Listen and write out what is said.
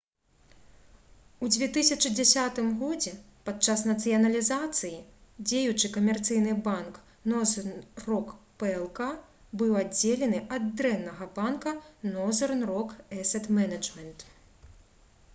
у 2010 годзе падчас нацыяналізацыі дзеючы камерцыйны банк «нозэрн рок плк» быў аддзелены ад «дрэннага банка» «нозэрн рок эсет менеджмент»